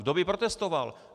Kdo by protestoval!